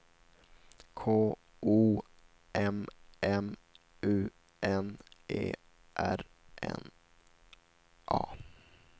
K O M M U N E R N A